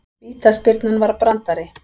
Vítaspyrnan var brandari